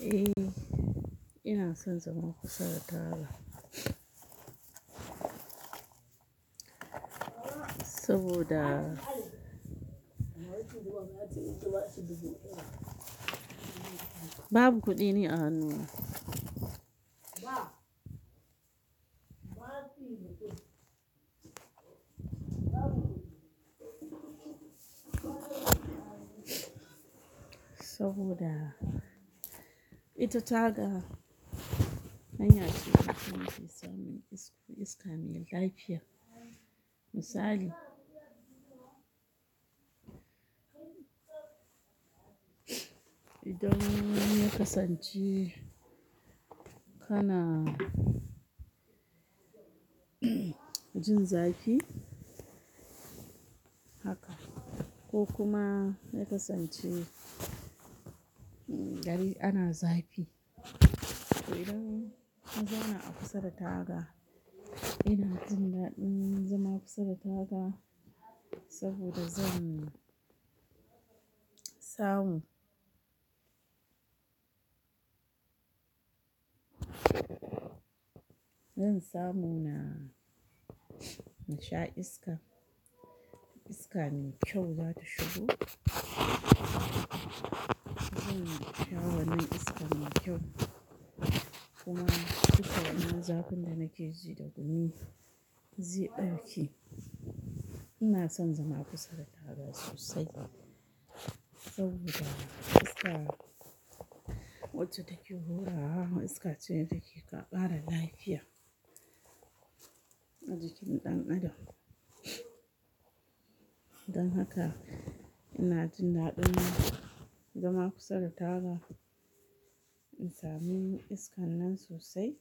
Eh, ina son zama kusa da taga. Saboda babu kuɗi ni a hannu na saboda ita taga, hanya ce ta samun iska mai lafiya. Misali, idan ya kasance kana jin zafi haka ko kuma ya kasance gari ana zafi. To idan na zauna a kusa da taga, ina jin daɗin zama kusa da taga saboda zan samu. Zan samu na sha iska. Iska mai kyau za ta shigo. Zan sha wannan iska mai kyau kuma duka wannan zafin da nake ji da gumi zai ɗauke. Ina son zama kusa da taga sosai saboda iska wacce take hurawa, iska ce da take ƙara lafiya a jikin ɗan adam. Don haka ina jin daɗin zama kusa da taga in sami iskan nan sosai.